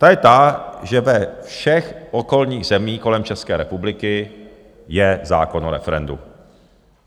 Ta je ta, že ve všech okolních zemích kolem České republiky je zákon o referendu.